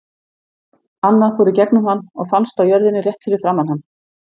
Annað fór í gegnum hann og fannst á jörðinni rétt fyrir framan hann.